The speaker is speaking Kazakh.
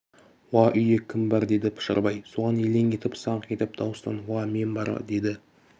уа үйде кім бар деді пұшарбай соған елең етіп саңқ етіп дауыстап уа мен бар деді